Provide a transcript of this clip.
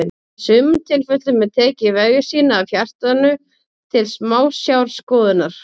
Í sumum tilfellum er tekið vefjasýni af hjartanu til smásjárskoðunar.